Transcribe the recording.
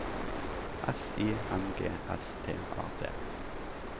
S I N G S T A D